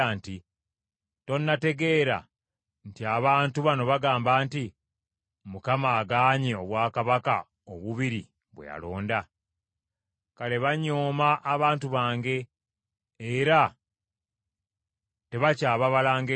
Tonategeera nti abantu bano bagamba nti, “ Mukama agaanye obwakabaka obubiri bwe yalonda? Kale banyooma abantu bange era tebakyababala ng’eggwanga.